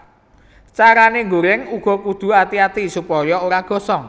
Carané ngoreng uga kudu ati ati supaya ora gosong